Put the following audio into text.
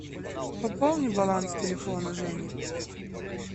пополни баланс телефона жени